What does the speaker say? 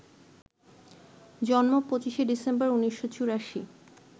জন্ম ২৫ ডিসেম্বর, ১৯৮৪